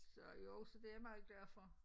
Så jo så det jeg meget glad for